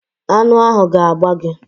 Aṅụ ahụ ga-agba gi